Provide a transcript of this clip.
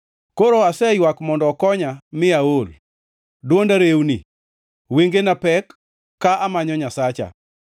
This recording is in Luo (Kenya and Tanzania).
Koro aseywak mondo okonya mi aol; dwonda rewni. Wengena pek, ka amanyo Nyasacha.